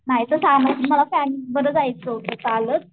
नाही तर काय मला जायचं होत चालत